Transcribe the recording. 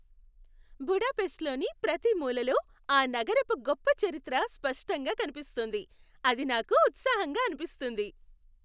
బుడాపెస్ట్లోని ప్రతి మూలలో ఆ నగరపు గొప్ప చరిత్ర స్పష్టంగా కనిపిస్తుంది, అది నాకు ఉత్సాహంగా అనిపిస్తుంది.